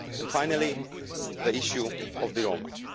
Finally, the issue of the Roma.